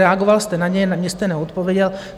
Reagoval jste na ně, mně jste neodpověděl.